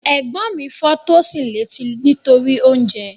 Ẹ̀gbọ́n mi fọ́ Tosin létí nítorí oúnjẹ